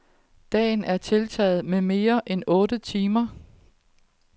Dagen er tiltaget med mere end otte timer.